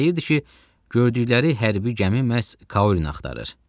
Deyirdi ki, gördükləri hərbi gəmi məhz Kaurini axtarır.